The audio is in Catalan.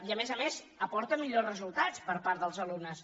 i a més a més aporta millors resultats per part dels alumnes